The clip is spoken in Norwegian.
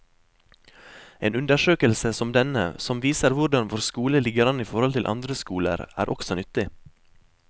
En undersøkelse som denne, som viser hvordan vår skole ligger an i forhold til andre skoler, er også nyttig.